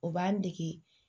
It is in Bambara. O b'an dege